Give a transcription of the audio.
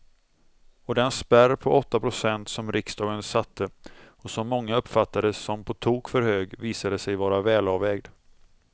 Och den spärr på åtta procent som riksdagen satte och som många uppfattade som på tok för hög visade sig vara välavvägd.